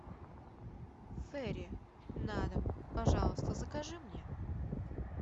фейри на дом пожалуйста закажи мне